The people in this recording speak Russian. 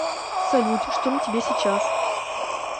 салют что на тебе сейчас